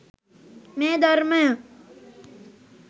මේ ධර්මය